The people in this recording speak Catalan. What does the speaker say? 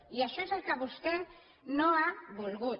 i això és el que vostè no ha volgut